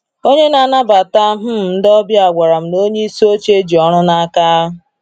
Onye na-anabata um ndị ọbịa gwara m na onyeisi oche ji ọrụ n'aka.